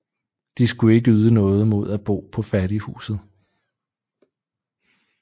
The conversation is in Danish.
De skulle ikke yde noget mod at bo på fattighuset